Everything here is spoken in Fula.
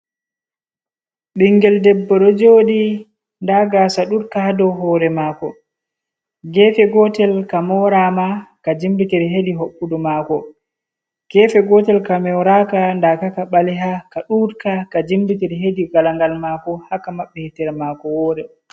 Ɓingel debbo ɗo joɗi nda gasa duudka dow hore mako, gefe gotel ka morama ka jimbitiri hedi hoɓɓudu mako, gefe gotel ka moraka ndaka ka ɓaleha ka duudka, ka jimbitir hedi galangal mako, haa ka maɓɓi hitere mako wore.